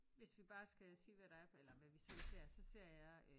Hvis vi bare skal sige hvad der er eller hvad vi selv ser så ser jeg øh